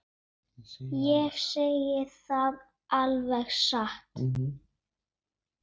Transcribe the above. Ég segi það alveg satt.